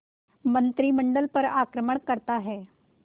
मंत्रिमंडल पर आक्रमण करता है